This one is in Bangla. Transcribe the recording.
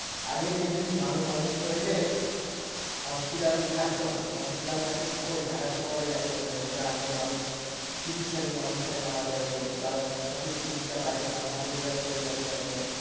আগে দেখবেন মানুষ অসুস্থ হইলে hospital এ থাকতো না hospital থাকত শহরে ঢাকা শহরে যাইতে হত গ্রামের মানুষ চিকিৎসাধীন অবস্থায় মারা যাইত বা সঠিক চিকিৎসা পায়তো না হাতুড়ে doctor এর কাছে যাইত